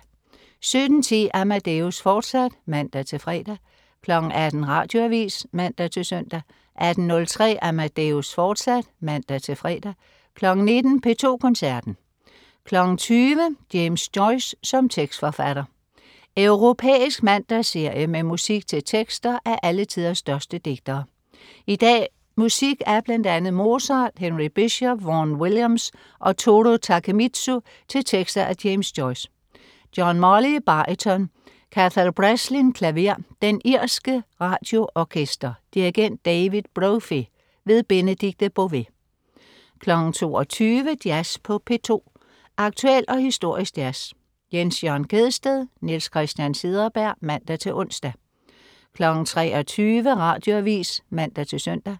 17.10 Amadeus, fortsat (man-fre) 18.00 Radioavis (man-søn) 18.03 Amadeus, fortsat (man-fre) 19.00 P2 Koncerten. 20.00 James Joyce som tekstforfatter. Europæisk mandagsserie med musik til tekster af alle tiders største digtere. I dag musik af bl.a. Mozart, Henry Bishop, Vaughan Williams og Toru Takemitsu til tekster af James Joyce. John Molly, baryton. Cathal Breslin, klaver. Den irske Radioorkester. Dirigent: David Brophy. Benedikte Bové 22.00 Jazz på P2. Aktuel og historisk jazz. Jens Jørn Gjedsted/Niels Christian Cederberg (man-ons) 23.00 Radioavis (man-søn)